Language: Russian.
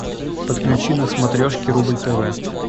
подключи на смотрешке рубль тв